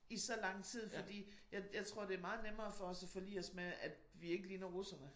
I så lang tid fordi jeg jeg tror det er meget nemmere for os at forlige os med at vi ikke ligner russerne